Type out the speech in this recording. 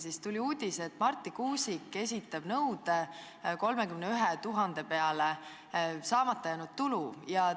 Sellel nädalal tuli uudis, et Marti Kuusik esitab nõude 31 000 saamata jäänud euro peale.